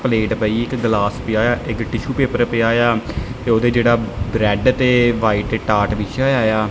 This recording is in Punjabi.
ਪਲੇਟ ਪਈ ਇੱਕ ਗਿਲਾਸ ਪਿਆ ਏ ਆ ਇੱਕ ਟਿਸ਼ੂ ਪੇਪਰ ਪਿਆ ਏ ਆ ਤੇ ਉੱਥੇ ਜਿਹੜਾ ਰੈੱਡ ਤੇ ਵਾਈਟ ਟਾਟ ਬਿਛਿਆ ਹੋਇਆ ਏ ਆ।